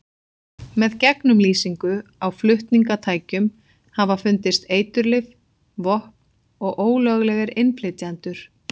Með gegnumlýsingu á flutningatækjum hafa fundist eiturlyf, vopn og ólöglegir innflytjendur.